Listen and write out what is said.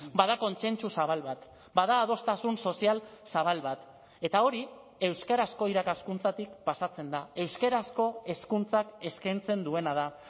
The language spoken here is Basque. bada kontsentsu zabal bat bada adostasun sozial zabal bat eta hori euskarazko irakaskuntzatik pasatzen da euskarazko hezkuntzak eskaintzen duena da